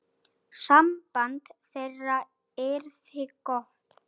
Samband þeirra yrði gott.